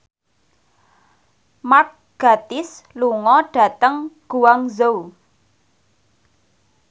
Mark Gatiss lunga dhateng Guangzhou